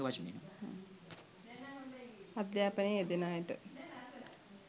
අධ්‍යාපනයේ යෙදෙන අයට